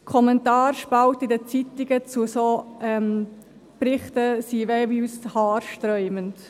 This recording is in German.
Die Kommentarspalten in den Zeitungen zu solchen Berichten sind haarsträubend.